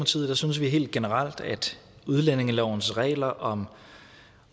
synes vi helt generelt at udlændingelovens regler om